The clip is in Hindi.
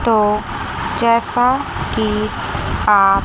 तो जैसा कि आप--